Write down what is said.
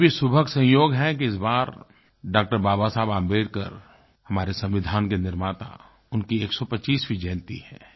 ये भी सुखद संयोग है कि इस बार डॉ बाबा साहब अम्बेडकर हमारे संविधान के निर्माता उनकी 125वी जयंती है